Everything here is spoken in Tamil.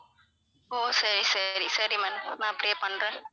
ஓ சரி சரி சரி ma'am நான் அப்படியே பண்றேன்